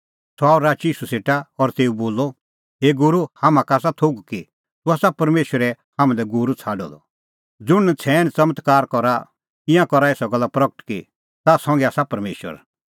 सह आअ राची ईशू सेटा और तेऊ बोलअ हे गूरू हाम्हां का आसा थोघ कि तूह आसा परमेशरै हाम्हां लै गूरू छ़ाडअ द ज़ुंण नछ़ैण च़मत्कार तूह करा ईंयां करा एसा गल्ला प्रगट कि ताह संघै आसा परमेशर